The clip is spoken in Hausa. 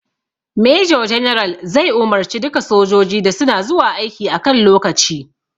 Major general zai umarce duka sojoji da suna zuwa aiki a kan lokaci